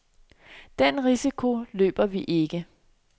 Den risiko løber vi ikke.